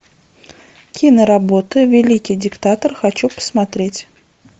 киноработа великий диктатор хочу посмотреть